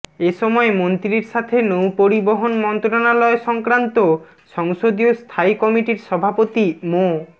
এ সময় মন্ত্রীর সাথে নৌপরিবহন মন্ত্রণালয় সংক্রান্ত সংসদীয় স্থায়ী কমিটির সভাপতি মো